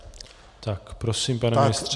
Tak prosím, pane ministře.